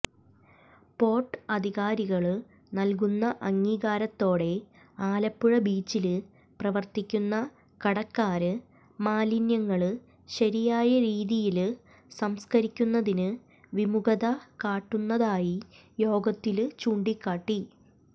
port അധികാരികള് നല്കുന്ന അംഗീകാരത്തോടെ ആലപ്പുഴ ബീച്ചില് പ്രവര്ത്തിക്കുന്ന കടക്കാര് മാലിന്യങ്ങള് ശരിയായരീതിയില് സംസ്കരിക്കുന്നതിന് വിമുഖത കാട്ടുന്നതായി യോഗത്തില് ചൂണ്ടിക്കാട്ടി